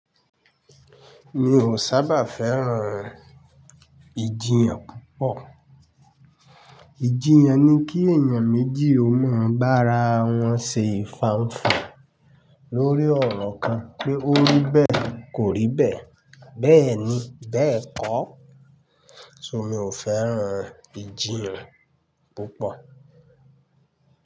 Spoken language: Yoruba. Mi ò sábà fẹ́ràn ìjiyàn púpọ̀. Ìjiyàn ni kí èèyàn méjì ó máa bá ara wọn ṣe ìfànfà lórí ọ̀rọ̀ kan pé ó rí bẹ́ẹ̀ kò rí bẹ́ẹ̀, bẹ́ẹ̀ ni, bẹ́ẹ̀ kọ́. So mi ò fẹ́ràn ìjiyàn púpọ̀.